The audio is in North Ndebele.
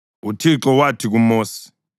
UThixo wathi kuMosi,